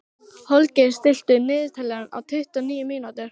Holger, stilltu niðurteljara á tuttugu og níu mínútur.